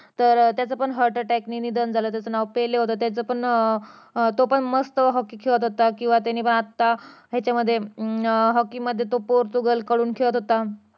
तर त्याच पण heartattack नि निधन झालं त्याच नाव पेले होतं त्याचं पण अं तो पण अं मस्त hockey खेळत होता किंवा त्याने आत्ता ह्याच्यामध्ये अं hockey मध्ये तो पोर्तुगल कडून खेळत होता